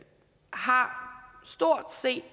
har